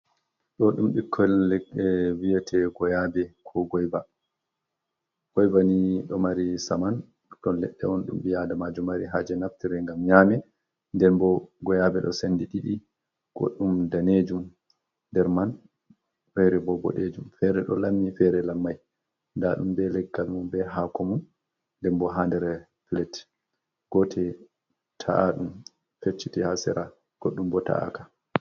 Do dum bikkon viyete goyabe ko goiva. Goiva ni do mari saman ton ledde on dum bi adamajo mari haje naftire ngam nyame der bo goyabe do sendi didi goddum danejum nder man fere bo bodejum fere do lammi fere lammai dadum be leggal mum be hakomu denbo ha nder flet gote ta’adum fecchiti hasera goddum bo ta’aka.